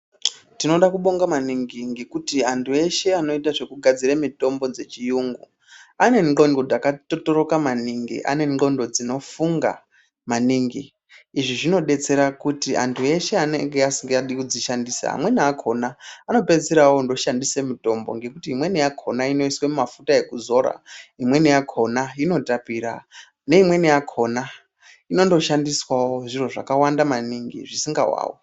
Tinode kubonga maningi ngekuti antu eshe anoita zvekugadzire mitombo dzechiyungu. Ane ndxondo dzakatxotxoroka maningi ane ndxondo dzinofunga maningi. Izvi zvinobetsera kuti antu eshe anenge asingadi kudzishandisa amweni akona anopedzisira andoshandisa mutombo. Ngekuti imweni yakona inoiswe mumafuta ekuzora, imweni yakona inotapira neimweni yakona inondo shandiswavo zviro zvakawanda maningi zvisingavavi.